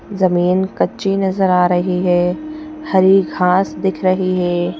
जमीन कच्ची नजर आ रही है हरी घास दिख रही हैं।